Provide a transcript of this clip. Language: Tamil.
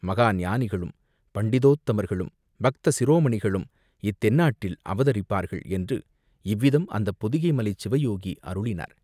மகா ஞானிகளும், பண்டிதோத்தமர்களும், பக்த சிரோமணிகளும் இத்தென்னாட்டில் அவதரிப்பார்கள், என்று இவ்விதம் அந்தப் பொதிகை மலைச் சிவயோகி அருளினார்.